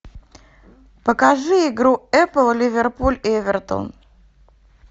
покажи игру апл ливерпуль эвертон